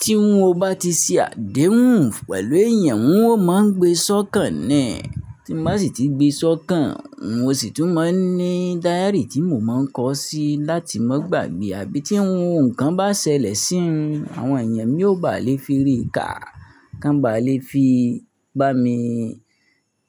Tí n ò bá ti ṣe àdéhùn pẹ̀lú èèyàn, n ò máa ń gbé sọ́kàn niì. Tí ń bá sì ti gbé sọ́kàn, mo sì tún máa ń ní dáyárì tí mo máa ń kọọ́ sí láti má gbàgbé. Àbí tí ohun kan bá ṣẹlẹ̀ sí mi, àwọn èèyàn mi yóò bá lè fi rí kà, kán baà le fi bá mi